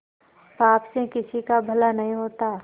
पाप से किसी का भला नहीं होता